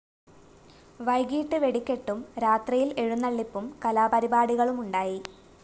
വൈകീട്ട് വെടിക്കെട്ടും രാത്രിയില്‍ എഴുന്നള്ളിപ്പും കലാപരിപാടികളുമുണ്ടായി